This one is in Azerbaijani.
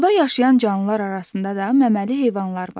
Suda yaşayan canlılar arasında da məməli heyvanlar var.